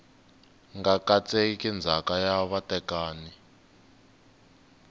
nga katseki ndzhaka ya vatekani